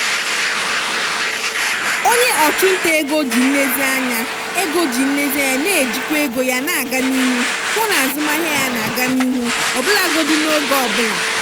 onye ọchụnta ego ji nlezianya ego ji nlezianya na-ejikwa ego ya na-aga n'ihu hụ na azụmahịa ya na-aga n'ihu ọbụlagodi n'oge ọbụla.